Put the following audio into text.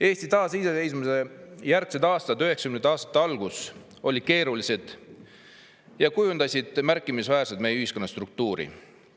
Eesti taasiseseisvumise järgsed aastad, 1990. aastate algus oli keeruline ja kujundas märkimisväärselt meie ühiskonna struktuuri.